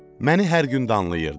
məni hər gün danlayırdı.